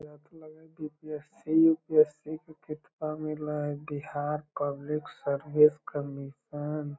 यहाँ पे लगो की यू.पि.एस.सी. एस.सी. के किताब मिल हई | बिहार पब्लिक सर्विस कमीशन --